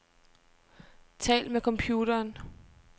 Tal med computeren.